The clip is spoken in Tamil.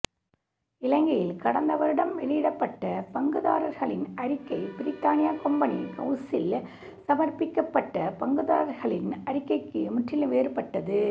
இலங்கையில் கடந்த வருடம் வெளியிடப்பட்ட பங்குதாரர்களின் அறிக்கை பிரித்தானிய கொம்பனி ஹவுசில் சமர்ப்பிக்கப்பட்ட பங்குதாரர்களின் அறிக்கைக்கு முற்றிலும் வேறுபட்டது